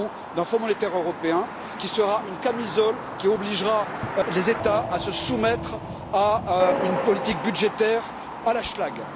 Macron, d'un fonds monétaire européen qui sera une camisole qui obligera les États à se soumettre à une politique budgétaire à la schlague.